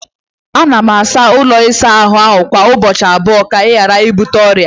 Ana m asa ụlọ ịsa ahụ m kwa ụbọchị abụọ ka m ghara ibute ọrịa.